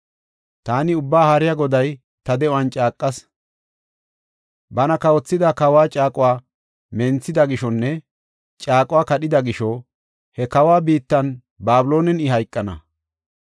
“Taani Ubbaa Haariya Goday ta de7uwan caaqas. Bana kawothida kawa caaquwa menthida gishonne caaquwa kadhida gisho, he kawa biittan, Babiloonen I hayqana.